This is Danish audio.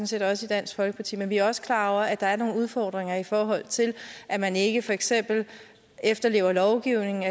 set også i dansk folkeparti men vi er også klar over at der er nogle udfordringer i forhold til at man ikke for eksempel efterlever lovgivningen